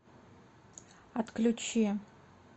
отключи